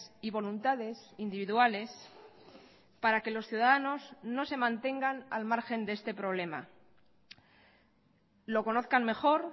y voluntades individuales para que los ciudadanos no se mantengan al margen de este problema lo conozcan mejor